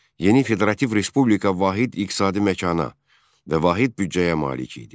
Yeni Federativ Respublika vahid iqtisadi məkana və vahid büdcəyə malik idi.